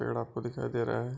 पेड़ आपको दिखाई दे रहा है।